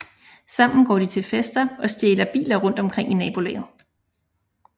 Sammen går de til fester og stjæler biler rundt omkring i nabolaget